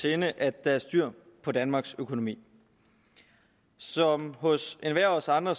sinde at der er styr på danmarks økonomi som hos enhver af os andre